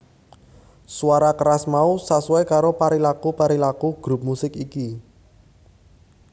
Suara keras mau sasuai karo perilaku perilaku grup musik iki